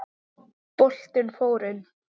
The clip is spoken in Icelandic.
Boltinn fór inn.